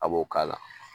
A b'o k'a la